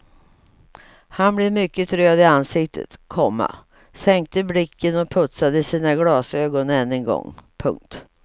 Han blev mycket röd i ansiktet, komma sänkte blicken och putsade sina glasögon än en gång. punkt